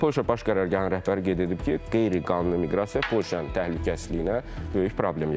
Polşa Baş Qərargahının rəhbəri qeyd edib ki, qeyri-qanuni miqrasiya Polşanın təhlükəsizliyinə böyük problem yaradır.